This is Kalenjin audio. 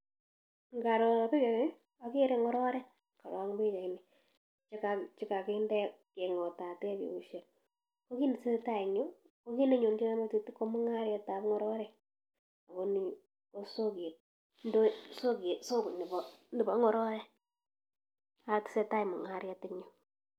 ngaroo pichait ni agere ngororek korok eng pichainit chekakinde kengotate keoshek. ko kiit netesetai eng you, ko kit nenonjina eng metit ko mungaret ap ngororik. akoni ko kosoket ap soko neba ngororik ak tesetai mungaret eng yu.